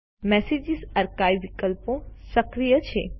message archives વિકલ્પો સક્રિય છે